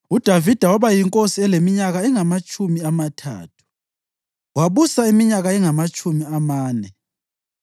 UDavida waba yinkosi eleminyaka engamatshumi amathathu, wabusa iminyaka engamatshumi amane.